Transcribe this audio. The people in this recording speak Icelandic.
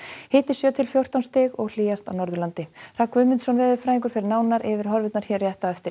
hiti sjö til fjórtán stig og hlýjast á Norðurlandi Hrafn Guðmundsson veðurfræðingur fer nánar yfir horfurnar hér rétt á eftir